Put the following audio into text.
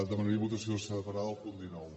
demanaria votació separada del punt dinou